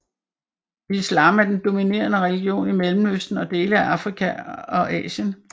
Islam er den dominerende religion i Mellemøsten og dele af Afrika og Asien